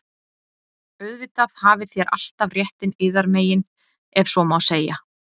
Auðvitað hafið þér alltaf réttinn yðar megin,- ef svo má segja.